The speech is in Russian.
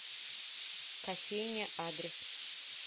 кофейня адрес